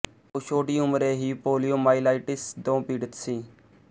ਉਹ ਛੋਟੀ ਉਮਰੇ ਹੀ ਪੋਲੀਓਮਾਇਲਾਈਟਿਸ ਤੋਂ ਪੀੜਤ ਸੀ